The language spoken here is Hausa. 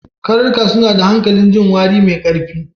Karnuka suna da hanƙalin jin wari mai ƙarfi.